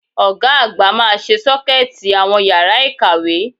Ọ̀ga àgbà máa ṣe Ṣọ́kẹ́ẹ̀tì àwọn yàrá ìkàwé